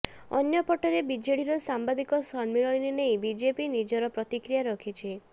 ଅନ୍ୟପଟରେ ବିଜେଡିର ସାମ୍ବାଦିକ ସମ୍ମିଳନୀ ନେଇ ବିଜେପି ନିଜର ପ୍ରତିକ୍ରିୟା ରଖିଛି